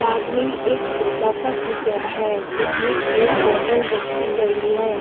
साथ में एक छोटा सा किचन है जिसमें एक बोटल रखी गई है।